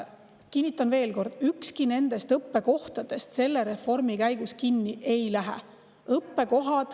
Kinnitan veel kord: ükski nendest õppekohtadest selle reformi käigus kinni ei lähe.